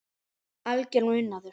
Algjör unaður.